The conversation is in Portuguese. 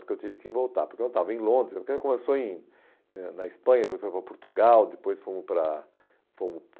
Porque eu tive que voltar, porque eu estava em Londres, porque começou em eh na Espanha, depois foi para Portugal, depois fomos para fomos